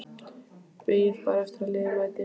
Bíð bara eftir að liðið mæti.